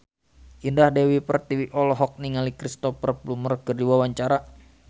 Indah Dewi Pertiwi olohok ningali Cristhoper Plumer keur diwawancara